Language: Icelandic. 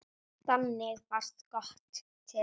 Þannig varð GOTT til.